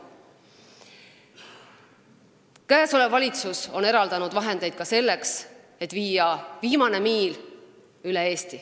Käesolev valitsus on eraldanud vahendeid ka selleks, et viia üle Eesti ellu viimase miili kava.